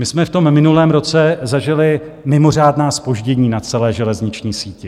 My jsme v tom minulém roce zažili mimořádná zpoždění na celé železniční síti.